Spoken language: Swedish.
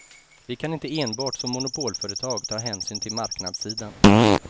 Vi kan inte enbart som monopolföretag ta hänsyn till marknadssidan.